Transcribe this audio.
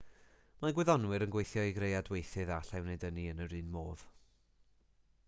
mae gwyddonwyr yn gweithio i greu adweithydd a allai wneud ynni yn yr un modd